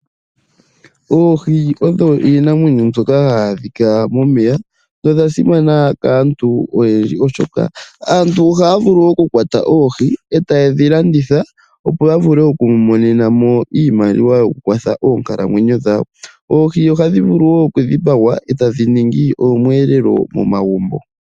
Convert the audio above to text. Oohi odho iinamwenyo mbyoka hayi adhika momeya dho odha simana kaantu oyendji oshoka aantu ohaya vulu okukwata oohi eta yedhi landitha opo ya vule okwimonena mo iimaliwa yo kukwatha oonkalamwenyo dhawo. Oohi ohadhi vulu woo okudhipagwa eta dhiningi omwelelo momagumbo.